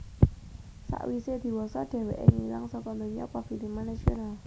Sawisé diwasa dhèwèké ngilang saka donya pafilman nasional